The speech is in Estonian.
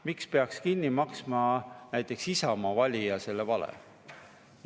Miks peaks näiteks Isamaa valija selle vale kinni maksma?